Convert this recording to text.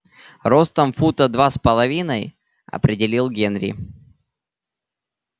ростом фута два с половиной определил генри